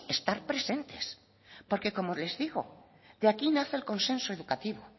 estar presentes porque como les digo de aquí nace el consenso educativo